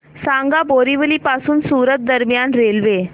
सांगा बोरिवली पासून सूरत दरम्यान रेल्वे